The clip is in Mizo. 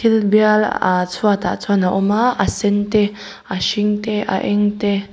thil bial a chhuatah chuan a awm a ahh a sen te a hring te a eng te.